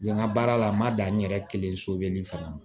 Yan ŋa baara la n ma dan n yɛrɛ kelen so bɛ nin fana ma